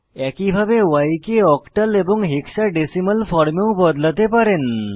একইভাবে y কে octal এবং হেক্সাডেসিমাল ফর্মেও বদলাতে পারেন